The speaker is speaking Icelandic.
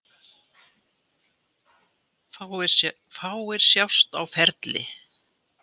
Fáir sjást á ferli.